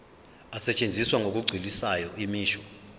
asetshenziswa ngokugculisayo imisho